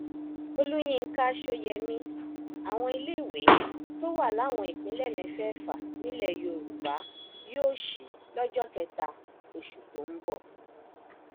olùyinka sóyemí àwọn iléèwé tó wà láwọn ìpínlẹ mẹfẹẹfà nílẹ yorùbá yóò sí lọjọ kẹta oṣù tó ń bọ